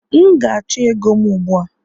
M ga-achọ ego m ugbu a!